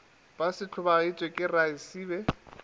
be se hlobaetšwa ke raesibe